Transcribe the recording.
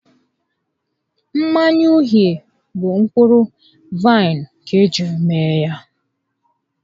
Mmanya uhie bụ mkpụrụ vaịnụ ka ejiri mee ya